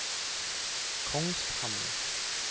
Kongshamn